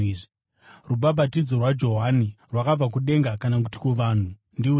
Rubhabhatidzo rwaJohani, rwakabva kudenga kana kuti kuvanhu? Ndiudzei!”